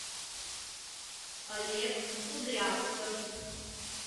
олег кудрявцев